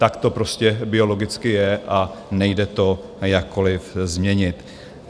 Tak to prostě biologicky je a nejde to jakkoliv změnit.